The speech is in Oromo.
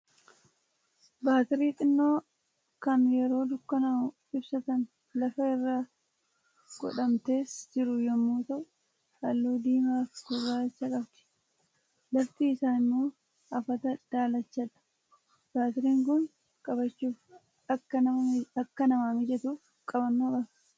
Baatirii xinnoo kan yeroo dukkanaa'u ibsatan, lafa irra godhamtes jiru yommuu ta'u, Halluu diimaa fi gurraachaa qabdi. Lafti isaa immoo afata daalachadha. Baatiriin Kun qabachuuf akka namaa mijatuuf, qabannoo qaba.